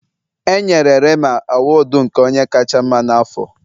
E yenre Rema awudu onye nke kacha mma n'afọ.